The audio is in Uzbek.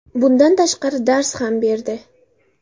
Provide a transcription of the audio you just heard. Bundan tashqari, dars ham berdi.